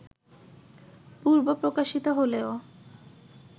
পূর্ব প্রকাশিত হলেও